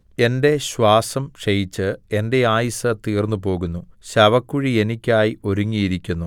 എന്റെ ശ്വാസം ക്ഷയിച്ചു എന്റെ ആയുസ്സ് തീർന്നുപോകുന്നു ശവക്കുഴി എനിക്കായി ഒരുങ്ങിയിരിക്കുന്നു